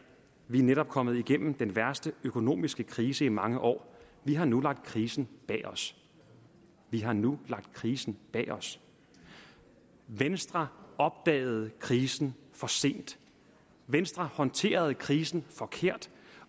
vi er netop kommet igennem den værste økonomiske krise i mange år vi har nu lagt krisen bag os vi har nu lagt krisen bag os venstre opdagede krisen for sent venstre håndterede krisen forkert